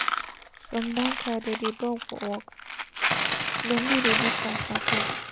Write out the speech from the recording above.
Some banker dey dey dull for work, dem no dey do fast at all.